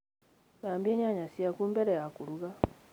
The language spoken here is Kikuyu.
Thambia nyanya ciaku mbele ya kũruga